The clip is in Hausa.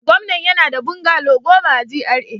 Gwamnan yana da bungalow goma a GRA